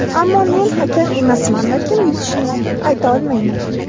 Ammo men hakam emasman va kim yutishini ayta olmayman.